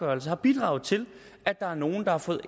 har bidraget til at der er nogle der har fået